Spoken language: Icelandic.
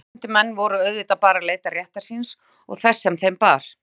Skuldheimtumenn voru auðvitað bara að leita réttar síns og þess sem þeim bar.